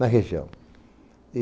Na região.